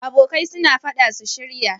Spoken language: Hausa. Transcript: Abokai suna faɗa su shirya